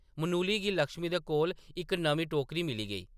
मनुली गी लक्ष्मी दे कोल इक नमीं टोकरी मिली गेई।